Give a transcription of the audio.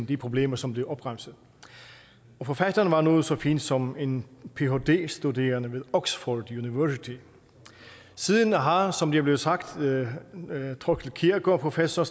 de problemer som blev opremset forfatteren var noget så fint som en phd studerende ved oxford university siden har som det er blevet sagt thorkild kjærgaard professor